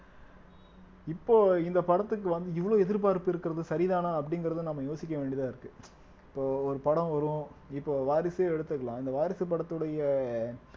இப்போ இந்த படத்துக்கு வந்து இவ்வளவு எதிர்பார்ப்பு இருக்கிறது சரிதானா அப்படிங்கிறத நம்ம யோசிக்க வேண்டியதா இருக்கு இப்போ ஒரு படம் வரும் இப்போ வாரிசே எடுத்துக்கலாம் இந்த வாரிசு படத்துடைய